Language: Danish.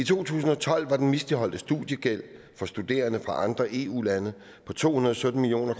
i to tusind og tolv var den misligholdte studiegæld for studerende fra andre eu lande på to hundrede og sytten million